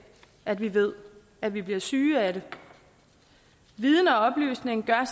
at vi ved at vi bliver syge af det viden og oplysning gør